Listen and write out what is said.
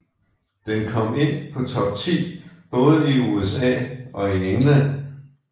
Den kom ind på top ti både i USA og i England